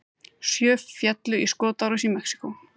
Sjö féllu í skotárás í Mexíkó